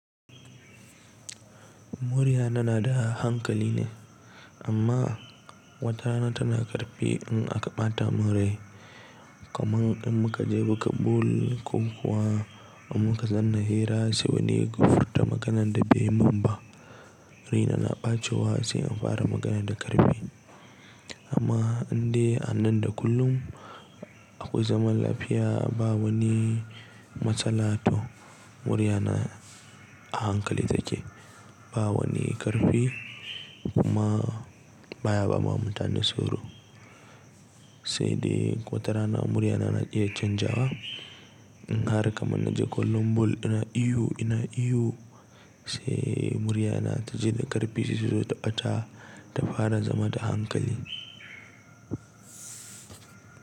Muryana na da ahankali ne amma wata rana tana ƙarfi in aka ɓata mun rai, kamar in muka je muka bul ko kuwa in muka zanna hira sai wani ya gurta maganan da bai man ba. Raina na ɓacewa sai in fara magana da ƙarfi. Amma har in dai anan da kullum akwai zaman lafiya ba wani matsala toh, muryana a hankali take, ba wani ƙarfi, kuma baya ba ma mutane tsoro. Sai dai ko tarana muryana na iya canjawa in har kamar na je kullum bul ina ihu ina ihu sai muryana ta ji da ƙarfi sai sai ta fara zama da hankali.